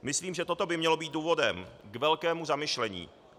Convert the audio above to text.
Myslím, že toto by mělo být důvodem k velkému zamyšlení.